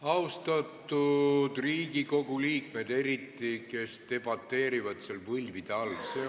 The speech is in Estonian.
Austatud Riigikogu liikmed, eriti need, kes debateerivad seal võlvide all!